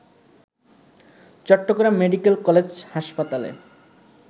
Chittagong medical college হাসপাতালে